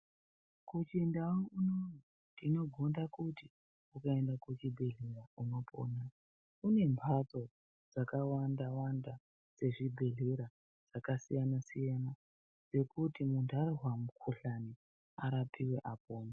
Muchindau muno tinogonda kuti muntu aende kuchibhehlera kune mhando dzakawanda dzezvibhedhlera dzakasiyana siyana kuti munhu anzwa mukhuhlana arapiwe apore.